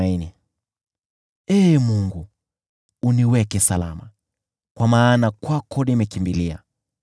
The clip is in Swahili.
Ee Mungu, uniweke salama, kwa maana kwako nimekimbilia.